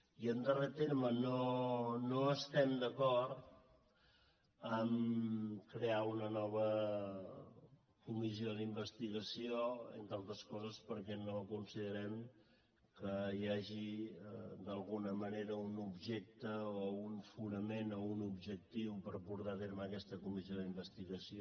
i en darrer terme no estem d’acord a crear una nova comissió d’investigació entre altres coses perquè no considerem que hi hagi d’alguna manera un objecte o un fonament o un objectiu per portar a terme aquesta comissió d’investigació